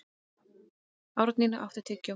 Árnína, áttu tyggjó?